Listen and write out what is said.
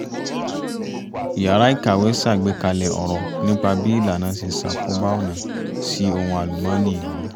yàrá ìkàwé ṣàgbékalẹ̀ ọ̀rọ̀ nípa bí ìlànà ṣe ṣàkóbá ọ̀nà sí ohun alùmọ́nì ìlú